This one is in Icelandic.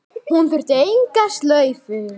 Hún þurfti enga slaufu.